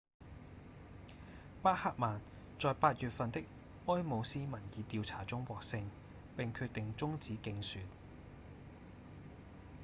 巴赫曼在八月份的埃姆斯民意調查中獲勝並決定終止競選